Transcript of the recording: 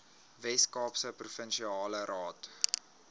weskaapse provinsiale raad